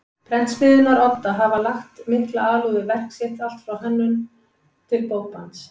Prentsmiðjunnar Odda hafa lagt mikla alúð við verk sitt allt frá hönnun til bókbands.